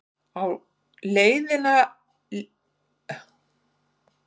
Á heildina litið var þetta verðskuldaður sigur.